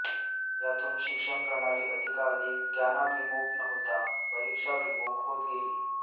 यातून शिक्षणप्रणाली अधिकाधिक ज्ञानाभिमुख न होता परीक्षाभिमुख होत गेली